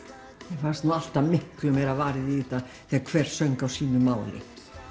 mér fannst alltaf miklu meira varið í þetta þegar hver söng á sínu máli